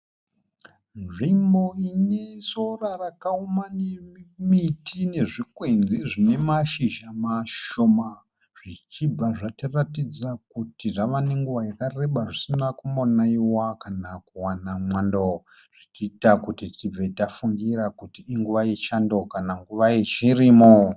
Nzvimbo ine sora rakaoma nemiti nezvikwenzi zvine mashizha mashoma zvichibva zvatiratidza kuti zvave nenguva yakareba zvisina kumbonaiwa kana kuwana mwando zvichiita kuti tibve tafungira kuti inguva yechando kana nguva yechirimo.